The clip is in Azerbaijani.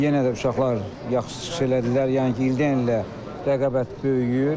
Yenə də uşaqlar yaxşı çıxış elədilər, yəni ki, ildən ilə rəqabət böyüyür.